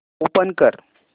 open कर